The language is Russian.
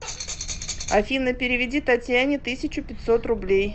афина переведи татьяне тысячу пятьсот рублей